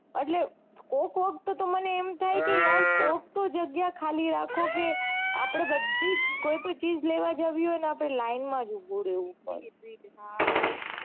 એટલ કોક કોક વખતે તો મને એમ થાય કે યાર કોક તો જગ્યા ખાલી રાખો કે આપડે બધી કોઈ બી ચીઝ લેવા જવી હોય આપડે લાઈનમાં જ ઉભી રેવું પડે છે હા સાચી